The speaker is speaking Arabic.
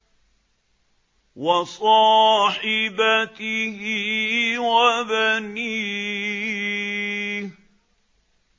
وَصَاحِبَتِهِ وَبَنِيهِ